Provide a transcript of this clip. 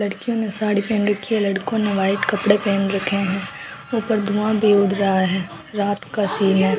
लड़कियों ने साड़ी पहन रखी है लड़कों ने व्हाइट कपड़े पहन रखे है ऊपर धुआं भी उड़ रहा है रात का सीन है।